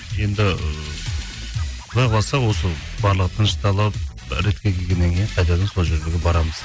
енді ы құдай қаласа осы барлығы тынышталып ы ретке келгеннен кейін қайтадан сол жерлерге барамыз